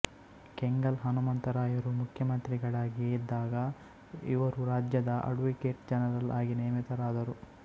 ಕೆಂಗಲ್ ಹನುಮಂತರಾಯರು ಮುಖ್ಯಮಂತ್ರಿಗಳಾಗಿದ್ದಾಗ ಇವರು ರಾಜ್ಯದ ಅಡ್ವೊಕೇಟ್ ಜನರಲ್ ಆಗಿ ನೇಮಿತರಾದರು